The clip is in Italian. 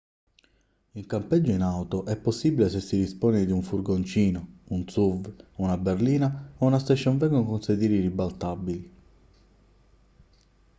il campeggio in auto è possibile se si dispone di un furgoncino un suv una berlina o una station wagon con i sedili ribaltabili